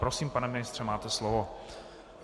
Prosím, pane ministře, máte slovo.